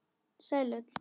Sæl öll.